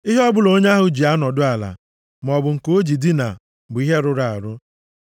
“ ‘Ihe ọbụla onye ahụ ji anọdụ ala, maọbụ nke o ji dinaa bụ ihe rụrụ arụ.